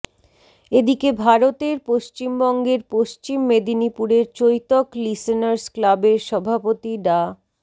এদিকে ভারতের পশ্চিমবঙ্গের পশ্চিম মেদিনীপুরের চৈতক লিসেনার্স ক্লাবের সভাপতি ডা